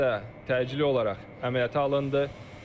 Xəstə təcili olaraq əməliyyata alındı.